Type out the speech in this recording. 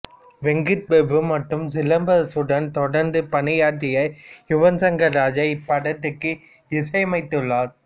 வெங்கட் பிரபு மற்றும் சிலம்பரசனுடன் தொடர்ந்து பணியாற்றிய யுவன் சங்கர் ராஜா இப்படத்திற்கு இசையமைத்துள்ளார்